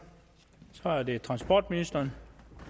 så er det transportministeren